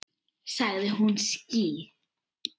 Sagði hún ský?